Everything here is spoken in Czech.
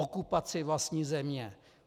Okupaci vlastní země.